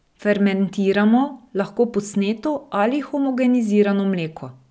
Fermentiramo lahko posneto ali homogenizirano mleko.